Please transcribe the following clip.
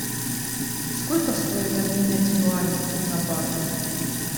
сколько стоит обменять юани на баты